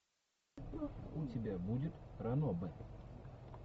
у тебя будет ранобэ